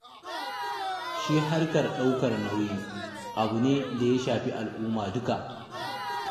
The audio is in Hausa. Shi harkar ɗaukar nauyi, abu ne da ya shafi al'umma duka.